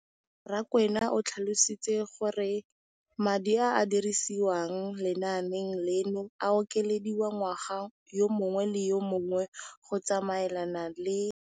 Rakwena o tlhalositse gore madi a a dirisediwang lenaane leno a okediwa ngwaga yo mongwe le yo mongwe go tsamaelana le